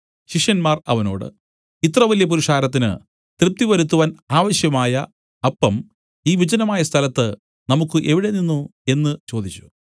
ശിഷ്യന്മാർ അവനോട് ഇത്രവലിയ പുരുഷാരത്തിന് തൃപ്തിവരുത്തുവാൻ ആവശ്യമായ അപ്പം ഈ വിജനമായ സ്ഥലത്ത് നമുക്കു എവിടെ നിന്നു എന്നു ചോദിച്ചു